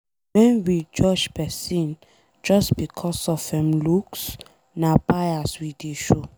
Wen we judge pesin just becos of em looks, na bias we dey show.